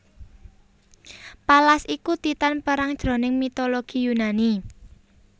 Pallas iku Titan perang jroning mitologi Yunani